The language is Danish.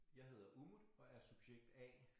Jeg hedder Umut og er subjekt A